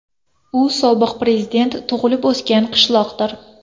U sobiq prezident tug‘ilib-o‘sgan qishloqdir.